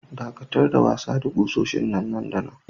Daƙatar da wasa da kusoshin nan da nan!